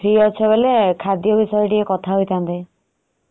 ଓହୋ ଯଦି free ଅଛ ବୋଲେ ଖାଦ୍ୟ ବିଷୟରେ ଟିକେ କଥା ହେଇଥାନ୍ତେ।